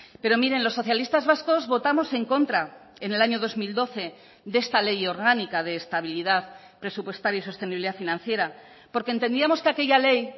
pero miren los socialistas vascos votamos en contra en el año dos mil doce de esta ley orgánica de estabilidad presupuestaria y sostenibilidad financiera porque entendíamos que aquella ley